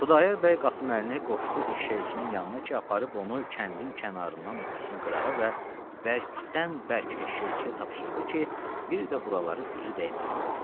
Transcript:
Xudayar bəy Qasım Əlini qoşdu eşşəkçinin yanına ki, aparıb onu kəndin kənarından ötürsün qırağa və bərkdən bərk eşşəkçiyə tapşırdı ki, bir də buraları üzü dəyməsin.